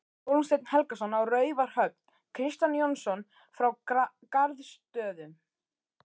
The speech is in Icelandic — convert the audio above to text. Hólmsteinn Helgason á Raufarhöfn, Kristján Jónsson frá Garðsstöðum